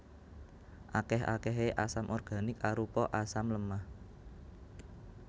Akèh akèhé asam organik arupa asam lemah